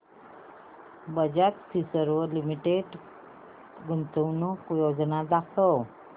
Bajaj Finserv limited गुंतवणूक योजना दाखव